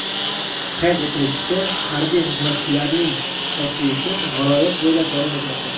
Qayd etilishicha, harbiy xizmatchilarning tashrifi viloyat bo‘ylab davom etmoqda.